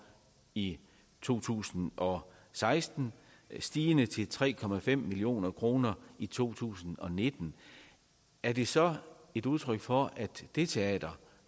i to tusind og seksten stigende til tre million kroner i to tusind og nitten er det så et udtryk for at det teater